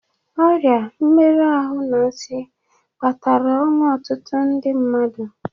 Ọrịa, mmerụ ahụ, na nsị kpatara ọnwụ ọtụtụ ndi mmadụ